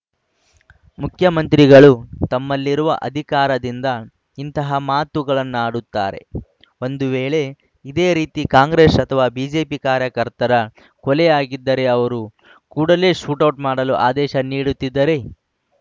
ಮುಖ್ಯಮಂತ್ರಿಗಳು ತಮ್ಮಲ್ಲಿರುವ ಅಧಿಕಾರದಿಂದ ಇಂತಹ ಮಾತುಗಳನ್ನಾಡುತ್ತಾರೆ ಒಂದು ವೇಳೆ ಇದೇ ರೀತಿ ಕಾಂಗ್ರೆಸ್‌ ಅಥವಾ ಬಿಜೆಪಿ ಕಾರ್ಯಕತರ ಕೊಲೆಯಾಗಿದ್ದರೆ ಅವರು ಕೂಡಲೇ ಶೂಟೌಟ್‌ ಮಾಡಲು ಆದೇಶ ನೀಡುತ್ತಿದ್ದರೇ